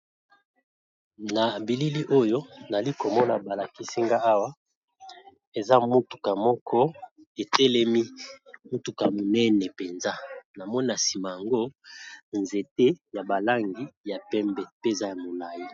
Na bilili oyo nali komona balakisinga awa eza motuka moko etelemi motuka monene mpenza. namona nsima yango nzete ya balangi ya pembe mpeza ya molangi.